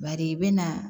Bari i bɛ na